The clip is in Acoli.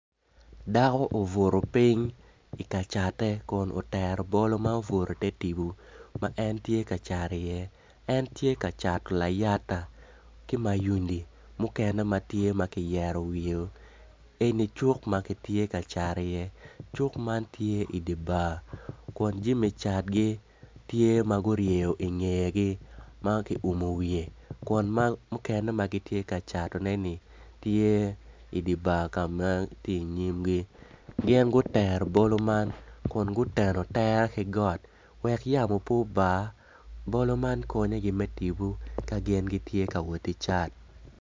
Dako obuto piny kun otero obolo ma obuto ite tipo ma en tye ka cat iye en tye ka cato layata ki mayunu mukene ma tye ma kiyeto wiyeo eni cuk ma kitye ka cat iye cuk man tye idi bar kun jami catgi tye ma guhryeyo ingegi ma kiummo wiye kun mukene ma gitye kacatoneni tye idi bar ka ma tye inyimgi gin gutero bolo man kun guteno tere ki got wek yamo pe oba bolo man konyogi me tipo ka gin gitye ka woti cat.